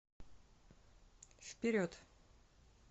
вперед